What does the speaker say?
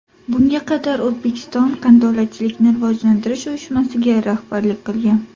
Bunga qadar O‘zbekiston Qandolatchilikni rivojlantirish uyushmasiga rahbarlik qilgan.